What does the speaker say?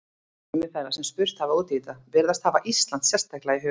Sumir þeirra sem spurt hafa út í þetta virðast hafa Ísland sérstaklega í huga.